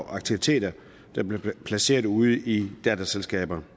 aktiviteter som blev placeret ude i datterselskaber